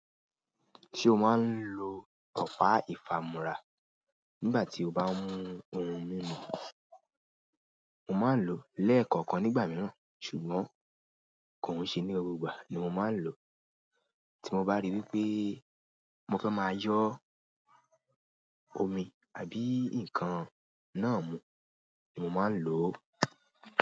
Sé o máa ń lo ọ̀pá ìfàmọ́ra nígbà tí o bá ń mu ohun mímu. Mo máa ń lò ó lẹ́ẹ̀kọ̀kan nígbà mìíràn ṣùgbọ́n kò hún ṣe ní gbogbo ìgbà ni mo máa ń lò ó. Tí mo bá ríi wípé mo fẹ́ máa yọ omi àbí nǹkan náà mú ni mo máa ń lò ó.